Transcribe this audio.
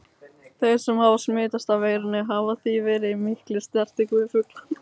Þeir sem hafa smitast af veirunni hafa því verið í mikilli snertingu við fuglana.